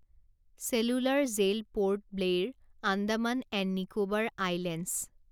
cellular Jail Port Blair, Andaman and Nicobar islands